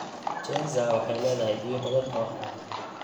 Chenza waxay leedahay biyo badan oo haya.